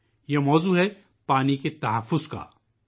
یہ موضوع آبی تحفظ سے متعلق ہے